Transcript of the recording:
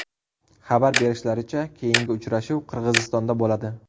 Xabar berishlaricha, keyingi uchrashuv Qirg‘izistonda bo‘ladi .